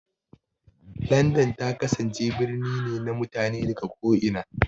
London ta kasance birni ne na mutane daga ko'ina.